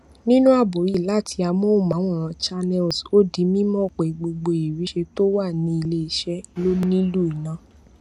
nínú àbọ yìí láti àmóhùnmáwòrán channels ó di mímọ pé gbogbo ìriṣẹ tó wà ní ilẹ iṣẹ ló nílù iná